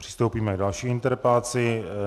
Přistoupíme k další interpelaci.